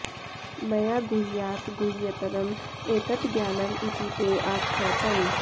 मया गुह्यात् गुह्यतरम् एतत् ज्ञानम् इति ते आख्यातम्